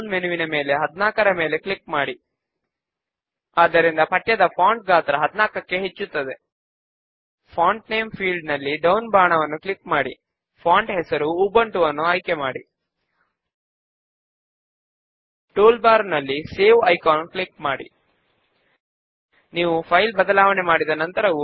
main base window లో members who need to return books form పైన double click చేయడము ద్వారా ఓపెన్ చేద్దాము